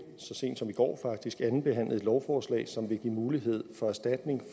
så sent som i går faktisk har andenbehandlet et lovforslag som vil give mulighed for erstatning